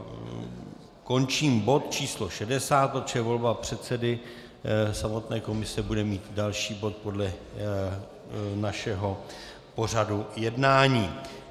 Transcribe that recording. Končím bod číslo 60, protože volba předsedy samotné komise bude mít další bod podle našeho pořadu jednání.